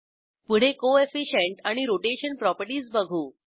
पुढे कोएफिशियंट आणि rotation properties बघू